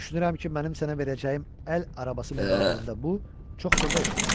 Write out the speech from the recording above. Düşünürəm ki, mənim sənə verəcəyim əl arabası müqabilində bu çox xırda işdir.